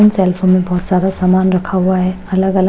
उन सल्फो में बहोत सारा सामान रखा हुआ है। अलग अलग--